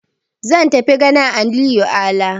Zan tafi ganin Aminu Ala.